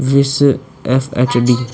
FHD --